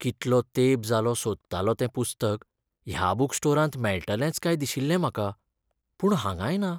कितलो तेंप जालो सोदतालों तें पुस्तक ह्या बूक स्टोरांत मेळटलेंच काय दिशिल्लें म्हाका. पूण हांगांय ना.